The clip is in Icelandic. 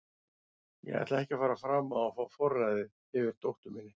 Ég ætla ekki að fara fram á að fá forræðið yfir dóttur minni.